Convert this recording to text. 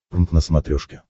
прнк на смотрешке